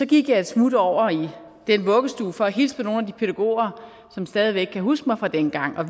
gik jeg et smut over i den vuggestue for at hilse på nogle af de pædagoger som stadig væk kan huske mig fra dengang og